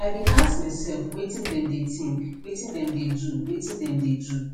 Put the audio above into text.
i bin ask myself wetin dem dey think wetin dem dey do wetin dem dey do